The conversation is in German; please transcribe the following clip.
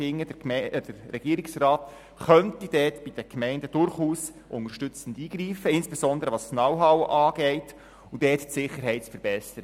Ich finde, der Regierungsrat könnte bei den Gemeinden durchaus unterstützend eingreifen, insbesondere was das Know-how angeht, um dort die Sicherheit zu verbessern.